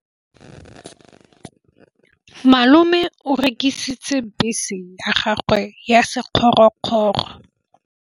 Malome o rekisitse bese ya gagwe ya sekgorokgoro.